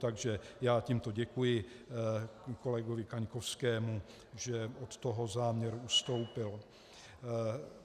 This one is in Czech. Takže já tímto děkuji kolegovi Kaňkovskému, že od toho záměru ustoupil.